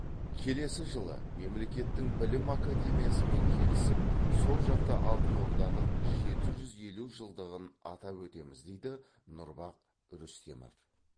келесі жылы мемлекеттің білім академиясымен келісіп сол жақта алтын орданың жеті жүз елу жылдығын атап өтеміз дейді нұрбах рүстемов